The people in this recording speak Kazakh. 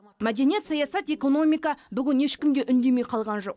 мәдениет саясат экономика бүгін ешкім де үндемей қалған жоқ